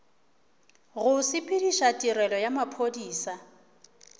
go sepediša tirelo ya maphodisa